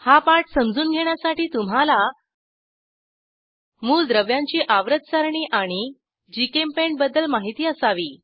हा पाठ समजून घेण्यासाठी तुम्हाला मूलद्रव्यांची आवर्त सारणी आणि जीचेम्पेंट बद्दल माहिती असावी